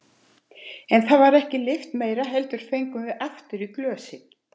En það var ekki lyft meira heldur fengum við aftur í glösin.